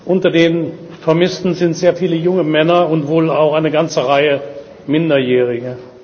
Unter den Vermissten sind sehr viele junge Männer und wohl auch eine ganze Reihe Minderjähriger.